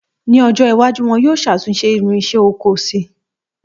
Ní ọjọ́ iwájú, wọ́n yóò ṣàtúnṣe irinsẹ́ oko si